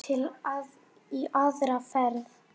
Til í aðra ferð.